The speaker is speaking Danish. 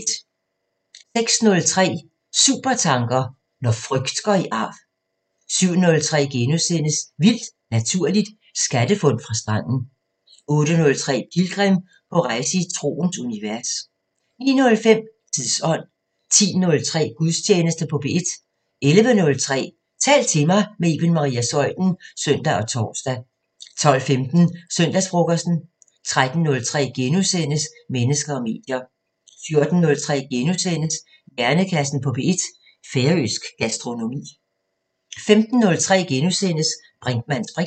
06:03: Supertanker: Når frygt går i arv 07:03: Vildt Naturligt: Skattefund fra stranden * 08:03: Pilgrim – på rejse i troens univers 09:05: Tidsånd 10:03: Gudstjeneste på P1 11:03: Tal til mig – med Iben Maria Zeuthen (søn og tor) 12:15: Søndagsfrokosten 13:03: Mennesker og medier * 14:03: Hjernekassen på P1: Færøsk gastronomi * 15:03: Brinkmanns briks *